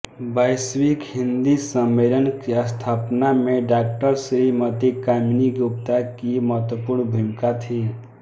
वैश्विक हिंदी सम्मेलन की स्थापना में डॉ श्रीमती कामिनी गुप्ता की महत्वपूर्ण भूमिका थी